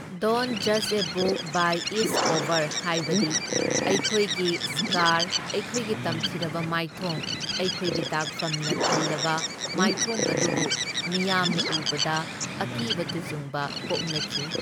Don't ꯖꯁ a book by its cover ꯍꯥꯏꯕꯗꯤ ꯑꯩꯈꯣꯏꯒꯤ ꯁ꯭ꯀꯥꯔ ꯑꯩꯈꯣꯏꯒꯤ ꯇꯝꯊꯤꯔꯕ ꯃꯥꯏꯊꯣꯡ ꯑꯩꯈꯣꯏꯒꯤ ꯗꯥꯛꯐꯝꯅ ꯊꯜꯂꯕ ꯃꯥꯏꯊꯣꯡ ꯑꯗꯨꯕꯨ ꯃꯤꯌꯥꯝꯅ ꯎꯕꯗ ꯑꯀꯤꯕ ꯇꯨꯖꯨꯡꯕ ꯄꯣꯛꯅꯈꯤ꯫